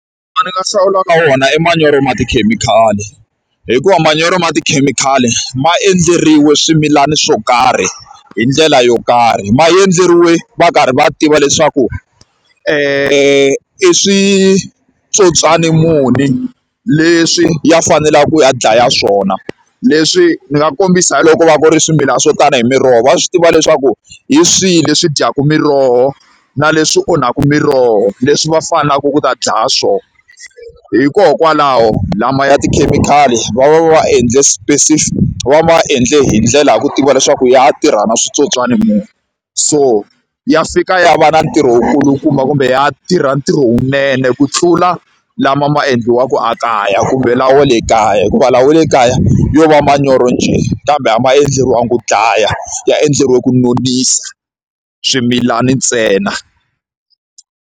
Lawa ni nga hlawulaka wona i manyoro ya tikhemikhali, hikuva manyoro ya tikhemikhali ma endleriwe swimilana swo karhi hi ndlela yo karhi. Ma endleriwe va karhi va tiva leswaku i switsotswani muni leswi ya faneleke ku ya dlaya swona. Leswi ni nga kombisa hi loko ku va ku ri swimilana swo tani hi miroho, va swi tiva leswaku hi swihi leswi dyaka miroho na leswi onhaka miroho leswi va faneleke ku ta dlaya swona. Hikokwalaho lama ya tikhemikhali va va va va endle va va endle hi ndlela ya ku tiva leswaku ya ya tirha na switsotswana munhu. So ya fika ya va na ntirho wu kulukumba kumbe ya tirha ntirho lowunene ku tlula lama ma endliwaka a kaya kumbe lawa ya le kaya, hikuva lawa ya le kaya yo va manyoro njhe. Kambe a ma endleriwangi ku dlaya, ya endleriwe ku nonisa swimilana ntsena.